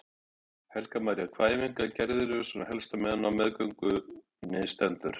Helga María: Hvaða æfingar geriði svona helst á meðan á meðgöngunni stendur?